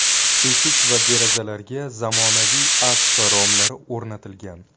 Eshik va derazalariga zamonaviy akfa romlari o‘rnatilgan.